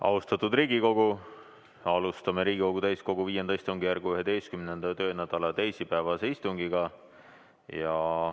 Austatud Riigikogu, alustame Riigikogu täiskogu V istungjärgu 11. töönädala teisipäevast istungit.